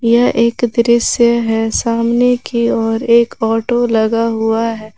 यह एक दृश्य है सामने की ओर एक ऑटो लगा हुआ है।